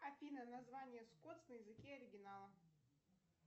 афина название скотс на языке оригинала